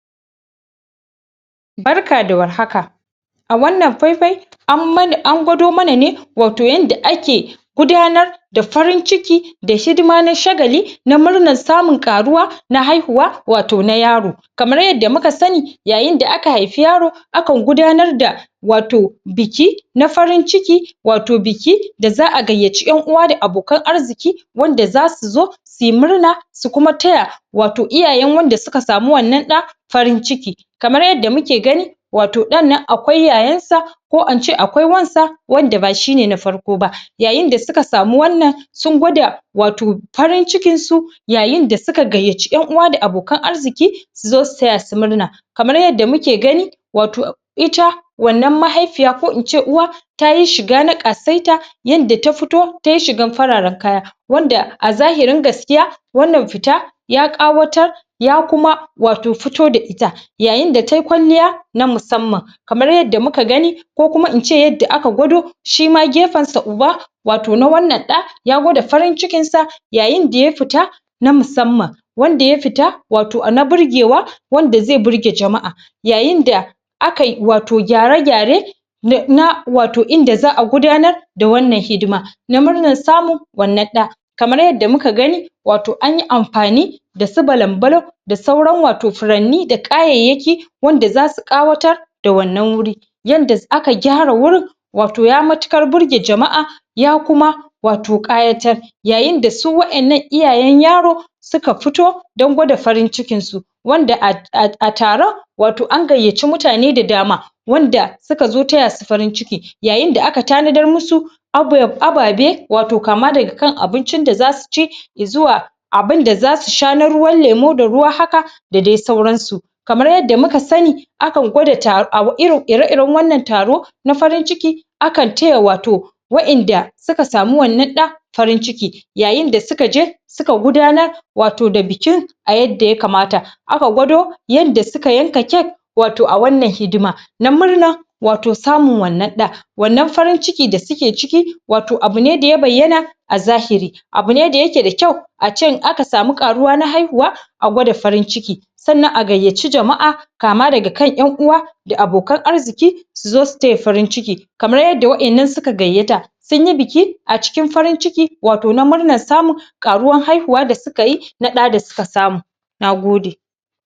barka da warhaka a wannan fai fai an gwado mana ne wato yanda ake gudanar da da hidima na shagali na munar samun karuwa na haihuwa wato na yaro kamar yarda muka sani idan aka haifi yaro akan gudanar da biki na farin ciki wato biki da za'a gayyaci yan'uwa da abokan arziki wanda zasu zo suyi murna su kuma taya wato iyaye wannan da suka samu wannan da farin ciki kamar yarda muke gani wato dannan akwai yayan sa ko ince akwai wansa wanda ba shine na farko ba yayin da syka samu wannan sun gwada wato farin cikin su yayin da suka gayyaci yan'uwa da abokan arziki su zo su taya su murna kamar yarda muke gani wato ita wato mahaifiya ko ince uwa tayi shiga na kasaita yanda ta fitotai shigar fararenkaya wanda a zahirin gaskiya wannan fita ya kawatar ya kuma wato fito da ita yayin da tayi kwalya na musamman kamar yadda muka gani ko kuma ince yarda gwado shima gefen sa uba wato na wannan da ya gwada farin cikin sa yayin da fita ta musamman wanda ya fita wato na birgewa wanda zai birge jama'a yayin da akai wato gyare gyare na wato inda za'a gudanar da wannan hidima na murnar samun wannan da kamar yadda muka gani wato anyi amfani da su balam bakam da sauran wato furanni da kayayyaki wanda zasu kawatar da wannan guri yanda aka kyara wanan gurin wato ya matukar birge jama'a ya kuma ato kayatar yayin da su wadannan iyayen yaro suka fito don kwada farin cikin su a taro wato an gayyaci mutane da dama wanda suka zo taya su farin ciki yayinda aka tanadar masu ababe wato kama daga kan abincin da zasu ci zuwa abinda zasu sha na ruwan lemu da ruwan da zsu sha da dai sauran su kamar yarda muka sani akan gwada ire iren wannan taro na farin ciki akan taya wato wadanda suka samu wannan da farin ciki yayin da sukaje suka gudanar da wato bikin a yadda ya kamata aka gwado yan da aka yanka cake wato a wannan hidima na murnar wato samun wannan da wannan farin ciki da suke ciki wato abune daya bayyana a zahiri abune da yake da kyau ace in aka samu karuwa na haihuwa a kwada farin ciki sannan a gaiyaci jam'a kama daga kan yan'uwa da abokan arziki suzo su taya farin ciki kamar yarda wadannan suka gayya ta sunyi biki a cikin farin ciki wato na murnanr samun karuwan haihuwa da sukayi na da da suka samu na gode